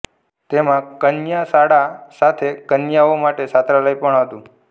તેમાં કન્યા શાળા સાથે કન્યાઓ માટે છાત્રાલય પણ હતું